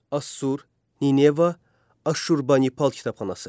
Assur, Nineva, Aşurbanipal kitabxanası.